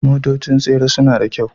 Motocin tsere sunada gudu